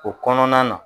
O kɔnɔna na